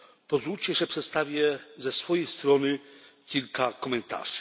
Pozwólcie, że przedstawię ze swojej strony kilka komentarzy.